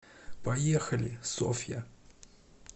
поехали софья